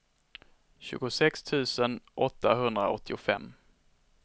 tjugosex tusen åttahundraåttiofem